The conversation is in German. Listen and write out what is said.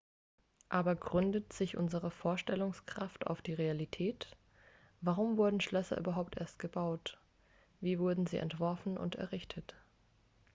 aber gründet sich unsere vorstellungskraft auf die realität warum wurden schlösser überhaupt erst gebaut wie wurden sie entworfen und errichtet